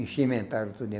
Encimentaram tudinho.